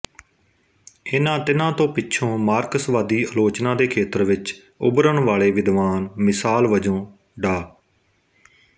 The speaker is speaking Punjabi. ਇਨ੍ਹਾਂ ਤਿੰਨਾਂ ਤੋਂ ਪਿੱਛੋਂ ਮਾਰਕਸਵਾਦੀ ਆਲੋਚਨਾ ਦੇ ਖੇਤਰ ਵਿੱਚ ਉਭਰਣ ਵਾਲੇ ਵਿਦਵਾਨ ਮਿਸਾਲ ਵਜੋਂ ਡਾ